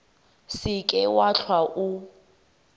se ke wa hlwa o